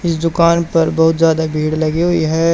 इस दुकान पर बहुत ज्यादा भीड़ लगी हुई है।